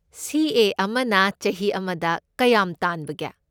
ꯁꯤ. ꯑꯦ. ꯑꯃꯅ ꯆꯍꯤ ꯑꯃꯗ ꯀꯌꯥꯝ ꯇꯥꯟꯕꯒꯦ?